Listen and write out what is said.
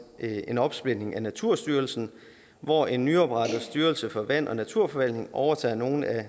en opsplitning af naturstyrelsen hvor en nyoprettet styrelse for vand og naturforvaltning overtager nogle af